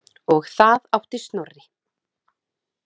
Og það átti Snorri.